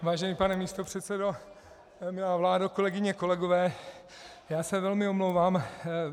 Vážený pane místopředsedo, milá vládo, kolegyně, kolegové, já se velmi omlouvám.